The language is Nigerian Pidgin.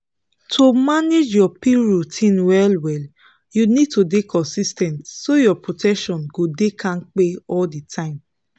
to manage your pill routine well-well you need to dey consis ten t so your protection go dey kampe all the time.